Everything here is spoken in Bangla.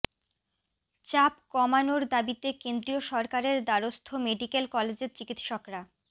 চাপ কমানোর দাবিতে কেন্দ্রীয় সরকারের দ্বারস্থ মেডিকেল কলেজের চিকিৎসকরা